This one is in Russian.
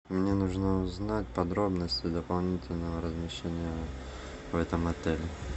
мне нужно узнать подробности дополнительного размещения в этом отеле